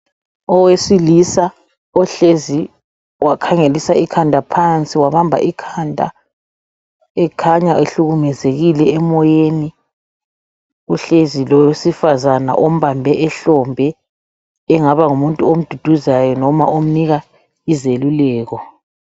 owesilisa ohlezi wakhangelisa ikhanda phansi wabamba ikhanda ekhanya ehlukumezekile emoyeni uhlezi lowesifazana ombambe ihlombe engaba ngumuntu omduduzayo kumbe omnika izeluleko